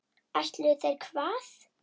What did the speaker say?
Ætluðu þeir hvað?